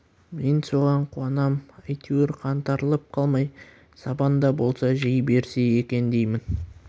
мен соған қуанам әйтеуір қаңтарылып қалмай сабан да болса жей берсе екен деймін